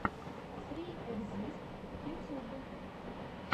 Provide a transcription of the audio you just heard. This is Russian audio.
сри экзист ютьюб